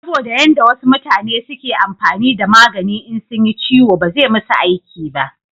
saboda yan da wasu mutane suke amfani da magani in sunyi ciwo ba zai musu aiki ba